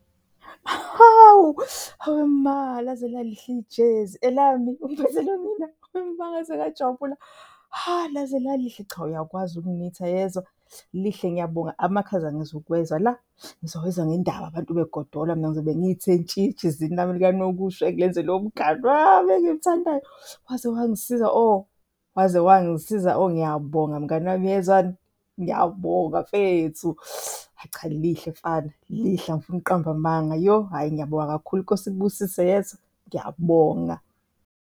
Hawu! Hawe ma, laze lalihle ijezi. Elami? Uliphathele mina? Hawe ma ngaze ngajabula. Ha, laze lalihle, cha uyakwazi ukunitha yezwa, lihle ngiyabonga. Amakhaza angizukuwezwa la, ngizowezwa ngendaba abantu begodola, mina ngizobe ngiyithe ntshi ejezini lami likanokusho engilenzelwe umngani wami engimthandayo. Waze wangisiza oh waze wangisiza oh, ngiyabonga mngani wami uyezwani? Ngiyabonga mfethu. Hhayi, cha lihle mfana, lihle angifuni ukuqamba amanga. Yoh, hhayi, ngiyabonga kakhulu iNkosi ikubusise yezwa? Ngiyabonga.